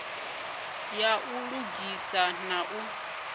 ya u lugisa na u